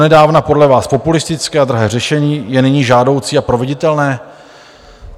Donedávna podle vás populistické a drahé řešení je nyní žádoucí a proveditelné?